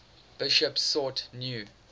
bishops sought new